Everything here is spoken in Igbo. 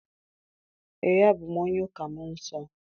Ee, abụ m onye ụka mmụọ nsọ.